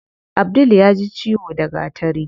Abdul yaji ciwo da gatari.